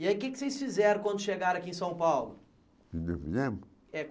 E aí o que é que vocês fizeram quando chegaram aqui em São Paulo? Quando nós viemos É